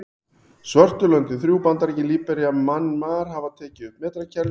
Svörtu löndin þrjú, Bandaríkin, Líbería og Mjanmar hafa ekki tekið upp metrakerfið.